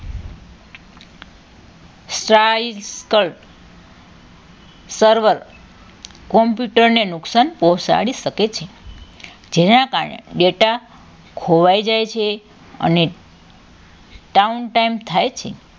cycle server computer ને નુકસાન પહોંચાડી શકે છે જેના કારણે data ખોવાઈ જાય છે અને town time થાય છે